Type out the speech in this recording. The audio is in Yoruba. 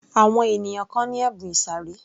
Àwọn ènìyàn kan ni ẹ̀bùn ìsàré